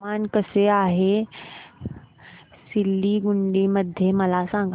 हवामान कसे आहे सिलीगुडी मध्ये मला सांगा